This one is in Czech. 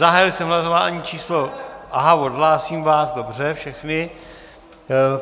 Zahájil jsem hlasování číslo - aha, odhlásím vás, dobře, všechny.